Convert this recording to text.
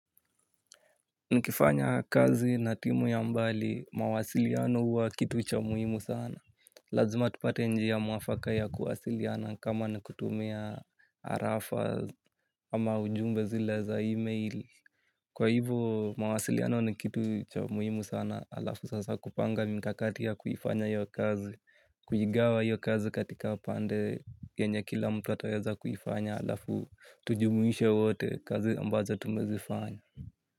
Nikifanya kazi na timu ya mbali, mawasiliano huwa kitu cha muhimu sana. Lazima tupate njia mwafaka ya kuwasiliana kama ni kutumia arafa ama ujumbe zile za e-mail. Kwa hivyo mawasiliano ni kitu cha muhimu sana, alafu sasa kupanga mikakati ya kuifanya hiyo kazi. Kuigawa hiyo kazi katika pande yenye kila mtu ataweza kuifanya alafu tujumuishe wote kazi ambazo tumezifanya.